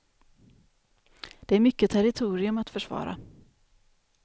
Det är mycket territorium att försvara.